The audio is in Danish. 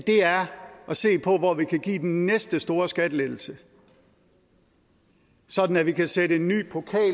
se på hvor vi kan give den næste store skattelettelse sådan at vi kan sætte en ny pokal